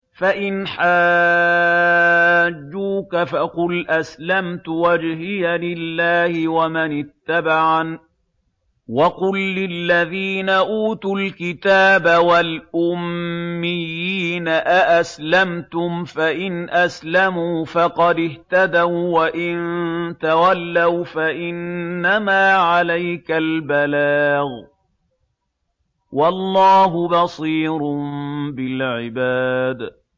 فَإِنْ حَاجُّوكَ فَقُلْ أَسْلَمْتُ وَجْهِيَ لِلَّهِ وَمَنِ اتَّبَعَنِ ۗ وَقُل لِّلَّذِينَ أُوتُوا الْكِتَابَ وَالْأُمِّيِّينَ أَأَسْلَمْتُمْ ۚ فَإِنْ أَسْلَمُوا فَقَدِ اهْتَدَوا ۖ وَّإِن تَوَلَّوْا فَإِنَّمَا عَلَيْكَ الْبَلَاغُ ۗ وَاللَّهُ بَصِيرٌ بِالْعِبَادِ